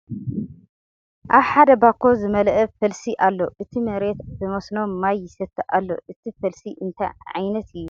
ኣብ ሕደ ባኮ ዝመለአ ፈልሲ ኣሎ ።እቲ መሬት ብ መስኖ ማይ ይሰቲ ኣሎ ። እቲ ፈልሲ እንታይ ዓይነት እዩ ?